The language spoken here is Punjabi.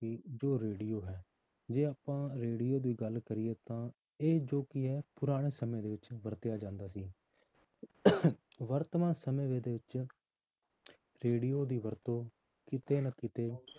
ਕਿ ਜੋ radio ਹੈ ਜੇ ਆਪਾਂ radio ਦੀ ਗੱਲ ਕਰੀਏ ਤਾਂ ਇਹ ਜੋ ਕੀ ਹੈ ਪੁਰਾਣੇ ਸਮੇਂ ਦੇ ਵਿੱਚ ਵਰਤਿਆ ਜਾਂਦਾ ਸੀ ਵਰਤਮਾਨ ਸਮੇਂ ਦੇ ਵਿੱਚ radio ਦੀ ਵਰਤੋਂ ਕਿਤੇ ਨਾ ਕਿਤੇ